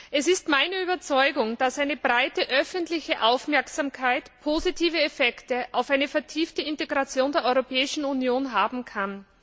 Es ist meine Überzeugung, dass eine breite öffentliche Aufmerksamkeit positive Effekte auf eine vertiefte Integration der Europäischen Union haben kann.